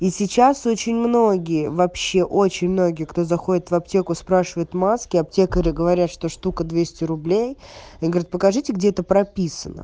и сейчас очень многие вообще очень многие кто заходит в аптеку спрашивают маски аптекари говорят что штука двести рублей они говорят покажите где это прописано